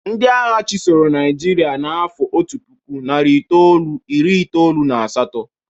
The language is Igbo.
Ndị agha chịsọrọ Nịajịrịa n'afọ otu puku, nari itolu, iri itolu na asatọ.